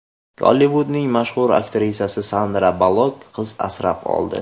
Gollivudning mashhur aktrisasi Sandra Ballok qiz asrab oldi.